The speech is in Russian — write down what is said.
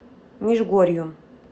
межгорью